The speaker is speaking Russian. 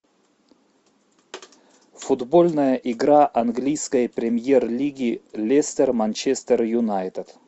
футбольная игра английской премьер лиги лестер манчестер юнайтед